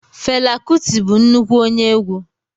Fela kuti bụ nnukwu onye egwu.